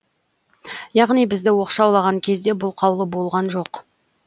яғни бізді оқшаулаған кезде бұл қаулы болған жоқ